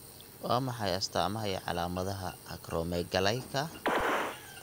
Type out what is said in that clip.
Waa maxay astamaha iyo calaamadaha Acromegalyka?